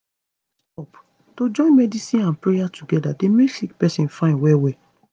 stop - to join medicine and prayer together dey make sick pesin fine well well